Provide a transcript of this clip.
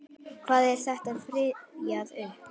Hví er þetta rifjað upp?